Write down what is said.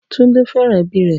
Tunde fẹ́ràn ẹbí rẹ̀